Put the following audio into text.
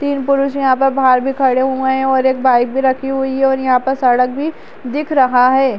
तीन पुरुष यहां पर बाहर भी खड़े हुए हैं और एक बाइक भी रखी हुई है और यहां पर सड़क भी दिख रहा है।